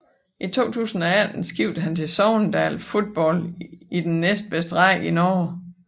I 2018 skiftede han til Sogndal Fotball i den næstbedste række i Norge